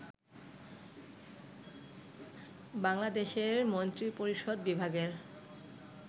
বাংলাদেশের মন্ত্রিপরিষদ বিভাগের